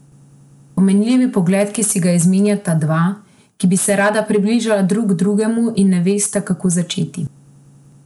Pomenljiv pogled, ki si ga izmenjata dva, ki bi se rada približala drug drugemu in ne vesta, kako začeti.